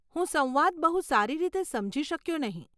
હું સંવાદ બહુ સારી રીતે સમજી શક્યો નહીં